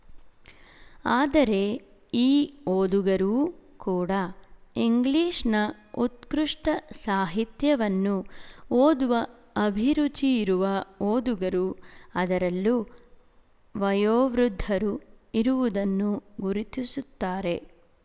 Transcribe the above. ಆದರೆ ಈ ಓದುಗರೂ ಕೂಡಾ ಇಂಗ್ಲಿಶ‍ನ ಉತ್ಕೃಷ್ಟ ಸಾಹಿತ್ಯವನ್ನು ಓದುವ ಅಭಿರುಚಿಯಿರುವ ಓದುಗರು ಅದರಲ್ಲೂ ವಯೋವೃದ್ಧರು ಇರುವುದನ್ನು ಗುರುತಿಸುತ್ತಾರೆ